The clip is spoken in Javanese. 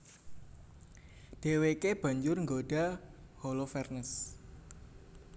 Dhèwèké banjur nggodha Holofernes